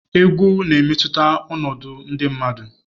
Egwu ga-emetụta ọnọdụ ndị mmadụ.